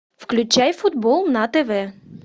включай футбол на тв